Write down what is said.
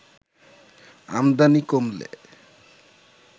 আমদানি কমলে